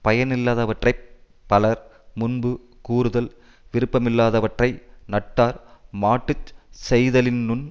பயனில்லாதவற்றை பலர் முன்பு கூறுதல் விருப்பமில்லாதவற்றை நட்டார் மாட்டு செய்தலினுந்